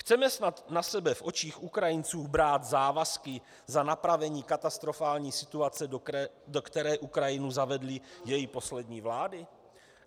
Chceme snad na sebe v očích Ukrajinců brát závazky za napravení katastrofální situace, do které Ukrajinu zavedly její poslední vlády?